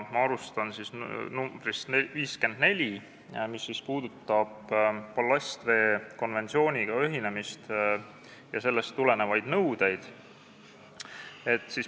Ma alustan ettepanekust nr 54, mis puudutab ballastveekonventsiooniga ühinemist ja sellest tulenevaid nõudeid.